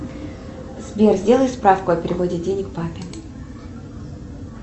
сбер сделай справку о переводе денег папе